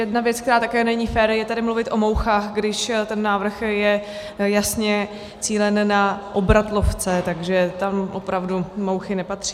Jedna věc, která také není fér, je tady mluvit o mouchách, když ten návrh je jasně cílen na obratlovce, takže tam opravdu mouchy nepatří.